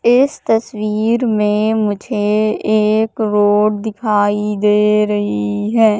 इस तस्वीर में मुझे एक रोड दिखाई दे रही है।